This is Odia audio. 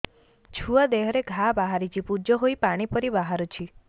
ଛୁଆ ଦେହରେ ଘା ବାହାରିଛି ପୁଜ ହେଇ ପାଣି ପରି ବାହାରୁଚି